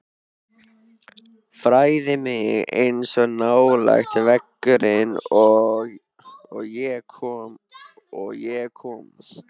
Færði mig eins nálægt veggnum og ég komst.